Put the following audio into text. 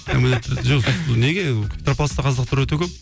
неге петропавловскте қазақтар өте көп